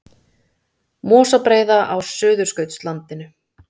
Mosabreiða á Suðurskautslandinu.